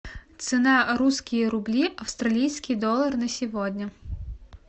цена русские рубли австралийский доллар на сегодня